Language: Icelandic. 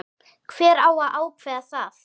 Hver á að ákveða það?